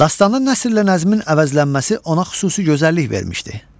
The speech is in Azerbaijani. Dastanda nəsr ilə nəzmin əvəzlənməsi ona xüsusi gözəllik vermişdi.